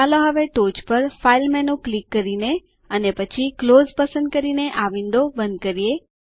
ચાલો હવે ટોચ પર ફાઇલ મેનૂ ક્લિક કરી અને પછી ક્લોઝ પસંદ કરીને આ વિન્ડો બંધ કરીએ